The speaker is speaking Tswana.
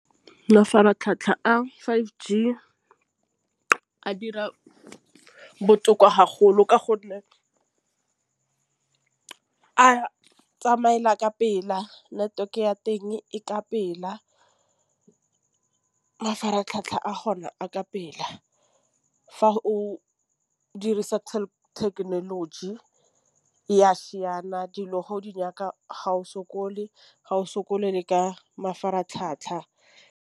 Mafaratlhatlha a five G a dira botoka ka gonne a tsamaela ka pela network ya teng e ka pela. Mafaratlhatlha a gona a ka pela fa o dirisa technology ya siana dilo ga o di nyaka ga o sokole ga o sokole le ka mafaratlhatlha.